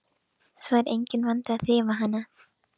Svo er enginn vandi að þrífa hana.